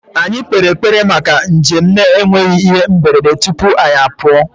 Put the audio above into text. Anyị kpere ekpere maka njem na-enweghị ihe mberede tupu anyị apụọ